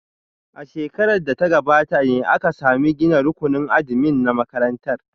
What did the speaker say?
A shekarar da ta gabata ne aka sake gina rukunin admin na makarantar